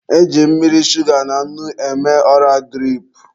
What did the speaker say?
E ji mmiri, shuga na nnu eme ọra dirip.